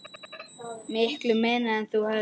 Miklu minna en þú heldur.